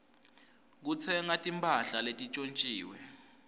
kutsenga timphahla letintjontjiwe